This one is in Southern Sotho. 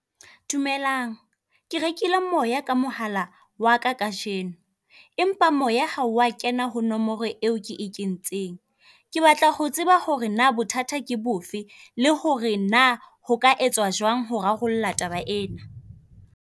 Dumelang, ke rekile moya ka mohala waka kajeno, empa moya ha wa kena ho nomoro eo ke e kentseng. Ke batla ho tseba hore naa bothata ke bofe, le hore naa ho ka etswa jwang ho rarolla taba ena.